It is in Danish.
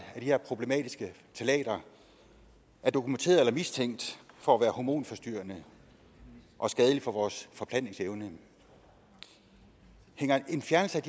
af de her problematiske ftalater er dokumenteret eller mistænkt for at være hormonforstyrrende og skadelige for vores forplantningsevne hænger en fjernelse af